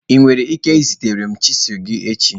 ị nwere ike izitere m chisilu gị echi?